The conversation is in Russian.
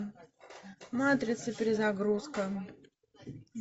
матрица перезагрузка